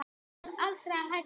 Ætlarðu aldrei að hætta?